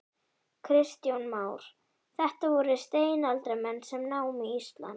Kristján Már: Þetta voru steinaldarmenn sem námu Ísland?